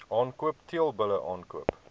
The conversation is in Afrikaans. aankoop teelbulle aankoop